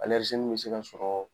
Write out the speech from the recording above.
nin bɛ se ka sɔrɔɔ